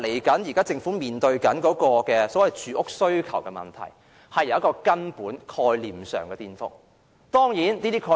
政府將來面對的住屋需求問題，出現根本概念上的顛覆。